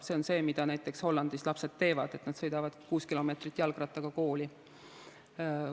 See on see, mida näiteks Hollandis lapsed teevad, nad sõidavad kuus kilomeetrit jalgrattaga kooli.